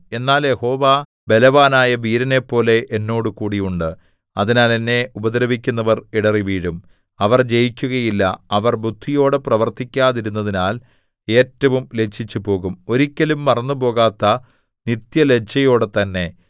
എന്നാൽ യഹോവ ബലവാനായ വീരനെപ്പോലെ എന്നോടുകൂടി ഉണ്ട് അതിനാൽ എന്നെ ഉപദ്രവിക്കുന്നവർ ഇടറിവീഴും അവർ ജയിക്കുകയില്ല അവർ ബുദ്ധിയോടെ പ്രവർത്തിക്കാതിരുന്നതിനാൽ ഏറ്റവും ലജ്ജിച്ചുപോകും ഒരിക്കലും മറന്നുപോകാത്ത നിത്യലജ്ജയോടെ തന്നെ